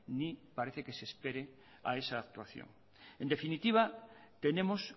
ni parece que se espere a esa actuación en definitiva tenemos